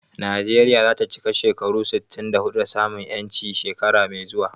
Najeriya za ta cika shekaru sittin da huɗu da samun 'yanci shekara mai zuwa.